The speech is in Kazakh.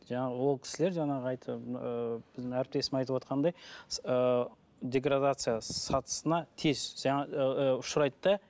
жаңағы ол кісілер жаңағы айтып ыыы біздің әріптесім айтып отырғандай ыыы деградация сатысына тез ұшырайды да